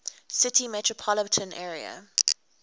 city metropolitan area